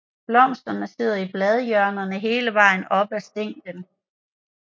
Blomsterne sidder i bladhjørnerne hele vejen op ad stænglen